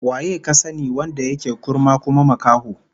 Waye ka sani wanda yake kurma kuma makaho?